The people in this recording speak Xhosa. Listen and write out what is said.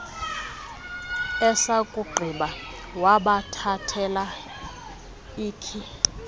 esakugqiba wabathathela ikhi